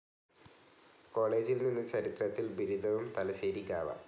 കോളേജിൽ നിന്ന് ചരിത്രത്തിൽ ബിരുദവും തലശ്ശേരി ഗാവ.